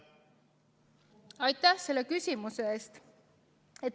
Aitäh selle küsimuse eest!